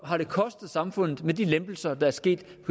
har det kostet samfundet med de lempelser der er sket